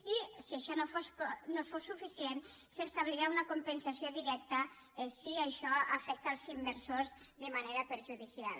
i si això no fos suficient s’establirà una compensació directa si això afecta els inversors de manera perjudicial